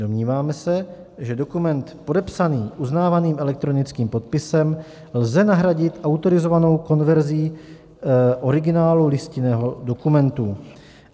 Domníváme se, že dokument podepsaný uznávaným elektronickým podpisem lze nahradit autorizovanou konverzí originálu listinného dokumentu.